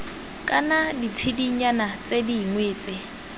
kana ditshedinyana tse dingwe tse